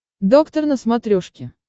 доктор на смотрешке